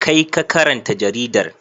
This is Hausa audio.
Kai ka karanta jaridar.